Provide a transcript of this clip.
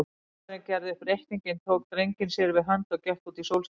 Faðirinn gerði upp reikninginn, tók drenginn sér við hönd og gekk út í sólskinið.